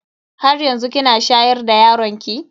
Haryanzu kina shayar da yaron ki?